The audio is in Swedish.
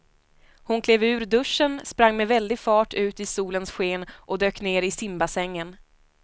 Hon klev ur duschen, sprang med väldig fart ut i solens sken och dök ner i simbassängen.